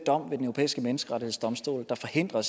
europæiske menneskerettighedsdomstol der forhindrer